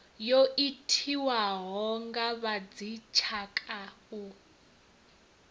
yo itiwaho a vhadzitshaka u